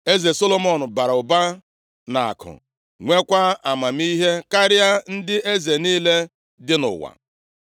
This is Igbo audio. Eze Solomọn bara ụba nʼakụ, nweekwa amamihe karịa ndị eze niile dị nʼụwa.